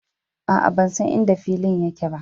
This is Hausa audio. Aa, ban san inda filin yake ba.